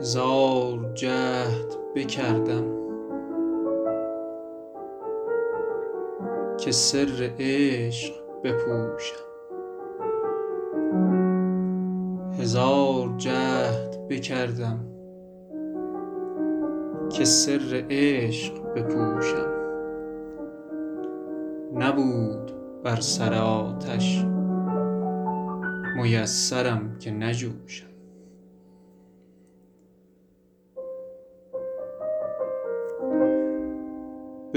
هزار جهد بکردم که سر عشق بپوشم نبود بر سر آتش میسرم که نجوشم